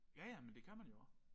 Ja ja men det kan man jo også